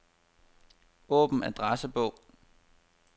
Åbn adressebog.